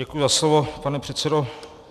Děkuji za slovo, pane předsedo.